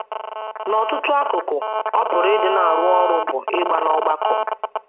N’ọtụtụ akụkụ, ọ pụrụ ịdị na - arụ ọrụ bụ́ ịgba n’ọgbakọ.